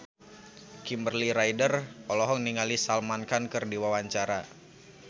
Kimberly Ryder olohok ningali Salman Khan keur diwawancara